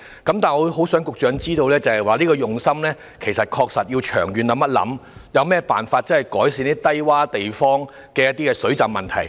然而，我很想局長知道，當局其實更需要從長遠考慮，想想有何辦法能改善低窪地方的水浸問題。